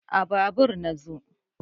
a Babur na zo